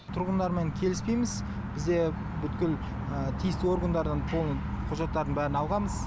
тұрғындармен келіспейміз бізде бүткіл тиісті органдардан полный құжаттардың барын алғанбыз